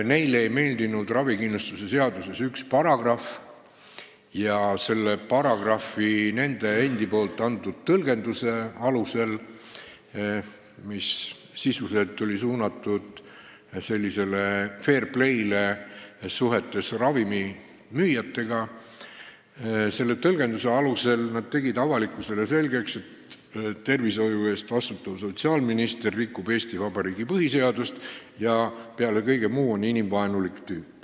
Neile ei meeldinud ravikindlustuse seaduses üks paragrahv ja selle paragrahvi nende endi antud tõlgenduse alusel, mis sisuliselt oli suunatud sellisele fair play´le suhetes ravimimüüjatega, tegid nad avalikkusele selgeks, et tervishoiu eest vastutav sotsiaalminister rikub Eesti Vabariigi põhiseadust ja peale kõige muu on inimvaenulik tüüp.